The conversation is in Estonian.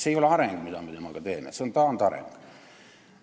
See ei ole areng, mis praegu toimub, see on taandareng.